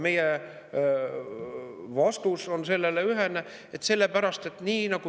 Meie vastus sellele on ühene.